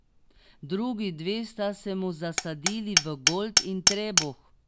Drugi dve sta se mu zasadili v golt in trebuh.